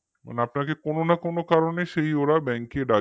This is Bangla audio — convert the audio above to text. আপনাকে কোন না কোন কারনেই সেই ওরা bank এ ডাকবেই হম